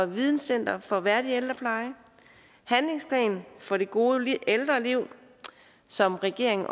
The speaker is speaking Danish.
videncenter for værdig ældrepleje en handlingsplan for det gode ældreliv som regeringen